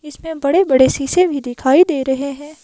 इसमें बड़े-बड़े शीशे भी दिखाई दे रहे हैं।